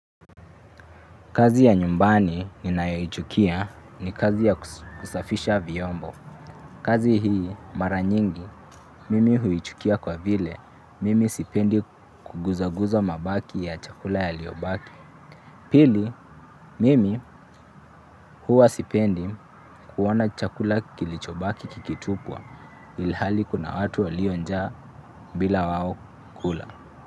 Kazi ya nyumbani ninayoichukia ni kazi ya kusafisha vyombo. Kazi hii mara nyingi, mimi huichukia kwa vile, mimi sipendi kuguzaguza mabaki ya chakula yaliyobaki. Pili, mimi huwa sipendi kuona chakula kilicho baki kikitupwa ilihali kuna watu walio njaa bila wao kula.